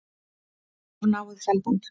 Er of náið samband?